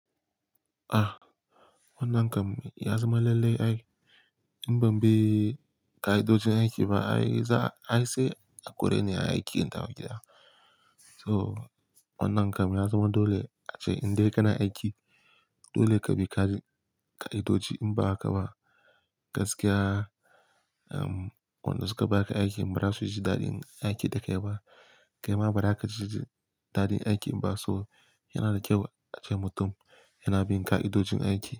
Ah, wannan kam ya zama lallai ai in ban bi ka'idojin aiki ba, ai za, ai sai a kore ni a aiki in tafi gida. So wannan kam ya zama dole ace in dai kana aiki, dole ka bi ka'idoji in ba haka ba gaskiya. Dan wanda suka baka aikin bara suji dadin aikin dakai ba kai ma ba za ka ji daɗin aikin ba so yana da kyau ace mutum yana bin ƙa'idojin aiki.